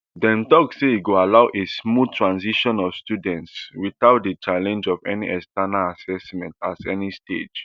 dem tok say e go allow a smooth transition of students witout di challenge of any external assessment at any stage